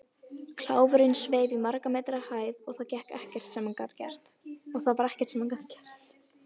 Kláfurinn sveif í margra metra hæð og það var ekkert sem hann gat gert.